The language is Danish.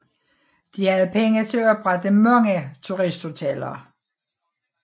De havde penge til at oprette mange turisthoteller